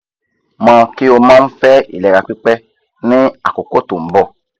mo ki o mo n fe ilera pipe ni akoko to n bo